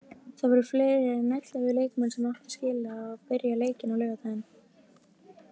Það voru fleiri en ellefu leikmenn sem áttu skilið að byrja leikinn á laugardaginn.